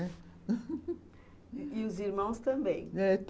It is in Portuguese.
E os irmãos também? é.